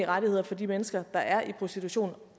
rettigheder for de mennesker der er i prostitution